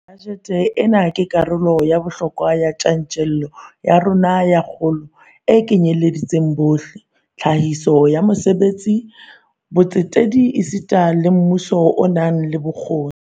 Bajete ena ke karolo ya bohlokwa ya tjantjello ya rona ya kgolo e kenyeletsang bohle, tlhahiso ya mesebetsi, botsetedi esita le mmuso o nang le bokgoni.